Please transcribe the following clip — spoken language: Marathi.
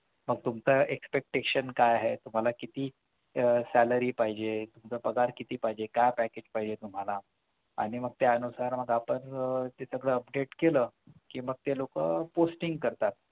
मग तुमचं expectation काय आहे तुम्हाला किती आह salary पाहिजे म्हणजे तुमचा पगार किती पाहिजे काय package पाहिजे तुम्हाला आणि मग त्यानुसार मग आपण तिथं update कि मग ते लोकं posting करतात